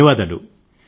ధన్యవాదాలు